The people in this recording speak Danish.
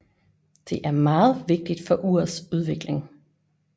Det er meget vigtigt for urets udvikling